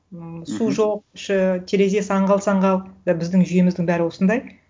ммм мхм су жоқ іші терезесі аңғал саңғал да біздің жүйеміздің бәрі осындай